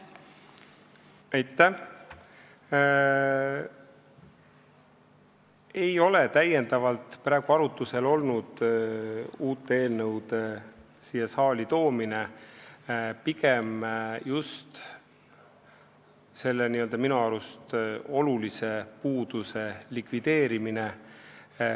Uute eelnõude siia saali toomine ei ole täiendavalt praegu arutlusel olnud, pigem on tegeldud just selle n-ö minu arust olulise puuduse likvideerimisega.